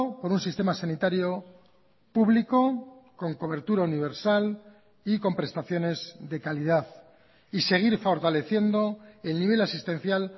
por un sistema sanitario público con cobertura universal y con prestaciones de calidad y seguir fortaleciendo el nivel asistencial